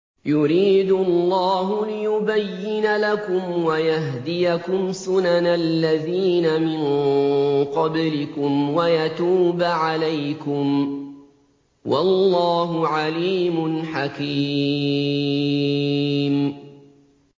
يُرِيدُ اللَّهُ لِيُبَيِّنَ لَكُمْ وَيَهْدِيَكُمْ سُنَنَ الَّذِينَ مِن قَبْلِكُمْ وَيَتُوبَ عَلَيْكُمْ ۗ وَاللَّهُ عَلِيمٌ حَكِيمٌ